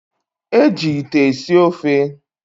Eji ite esi ofe.